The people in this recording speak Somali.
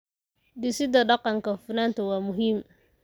Dhisida dhaqanka hufnaanta waa muhiim.